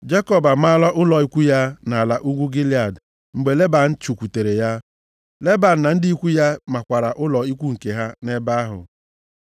Jekọb amaala ụlọ ikwu ya nʼala ugwu Gilead mgbe Leban chụkwutere ya. Leban na ndị ikwu ya makwara ụlọ ikwu nke ha nʼebe ahụ.